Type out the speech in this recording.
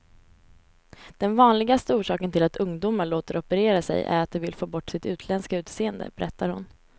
Den vanligaste orsaken till att ungdomar låter operera sig är att de vill få bort sitt utländska utseende, berättar hon.